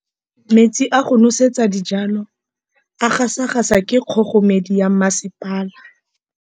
Metsi a go nosetsa dijalo a gasa gasa ke kgogomedi ya masepala.